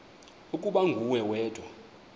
ukuba nguwe wedwa